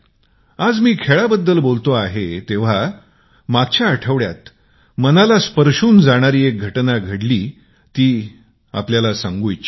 आज मी खेळाबद्दल बोलत असतांना मागील आठवड्यात मनाला स्पर्शुन जाणारी घटना घडली जी मी नागरिकांना सांगू इच्छितो